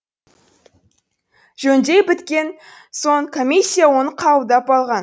жөндей біткен соң комиссия оны қабылдап алған